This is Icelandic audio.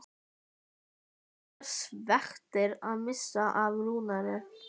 Við sveigðum af sjávargötunni inn í hverfið við Vogana.